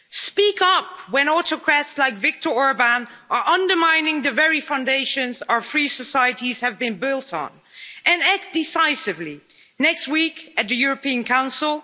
Speak up when autocrats like Viktor Orbán are undermining the very foundations our free societies have been built on, and act decisively next week at the European Council.